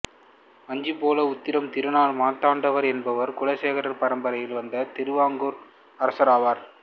வஞ்சிபால உத்திரம் திருநாள் மார்த்தாண்டவர்மா என்பவர் குலசேகரர் பரம்பரையில் வந்த திருவாங்கூர் அரசராவார்